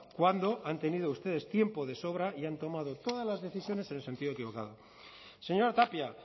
cuando han tenido ustedes tiempo de sobra y han tomado todas las decisiones en el sentido equivocado señora tapia